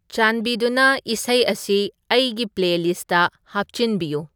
ꯆꯥꯟꯕꯤꯗꯨꯅ ꯏꯁꯩ ꯑꯁꯤ ꯑꯩꯒꯤ ꯄ꯭ꯂꯦꯂꯤꯁꯠꯇ ꯍꯥꯞꯆꯟꯕꯤꯌꯨ